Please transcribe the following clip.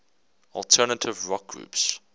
alternative rock groups